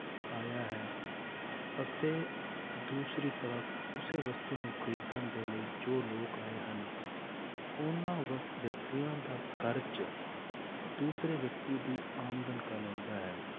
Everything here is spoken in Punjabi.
ਆਇਆ ਹੈ, ਅਤੇ ਦੂਸਰੀ ਤਰਫ਼ ਉਸੇ ਵਸਤੂ ਨੂੰ ਖ਼ਰੀਦਣ ਦੇ ਲਈ ਜੋ ਲੋਕ ਆਏ ਹਨ ਉਹਨਾਂ ਵਿਅਕਤੀਆਂ ਦਾ ਖ਼ਰਚ ਦੂਸਰੇ ਵਿਅਕਤੀ ਦੀ ਆਮਦਨ ਕਹਿਲਾਉਂਦਾ ਹੈ